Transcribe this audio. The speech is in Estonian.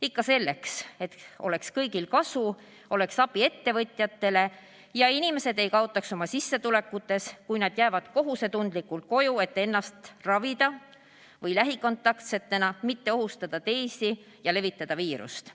Ikka selleks, et oleks kõigil kasu, oleks abi ettevõtjatele ja inimesed ei kaotaks oma sissetulekutes, kui nad jäävad kohusetundlikult koju, et ennast ravida või lähikontaktsena mitte ohustada teisi ja levitada viirust.